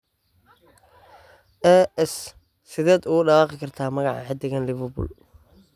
(AS) Sideed ugu dhawaaqdaa magaca xiddigan Liverpool?